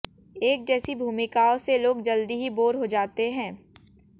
एक जैसी भूमिकाओं से लोग जल्दी ही बोर हो जाते हैं